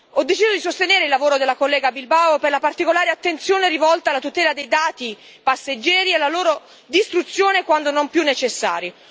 Ho deciso di sostenere il lavoro della collega Bilbao, per la particolare attenzione rivolta alla tutela dei dati dei passeggeri alla loro distruzione quando non più necessari.